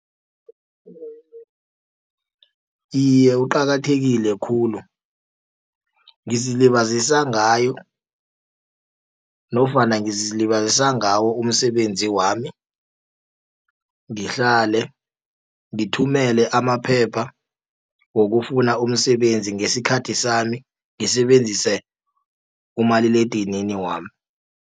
Iye, uqakathekile khulu ngizilibazisa ngayo nofana ngizilibazisa ngawo umsebenzi wami. Ngihlale ngithumele amaphepha wokufuna umsebenzi ngesikhathi sami, ngisebenzise umaliledinini wami.